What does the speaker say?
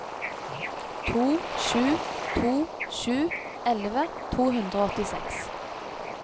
to sju to sju elleve to hundre og åttiseks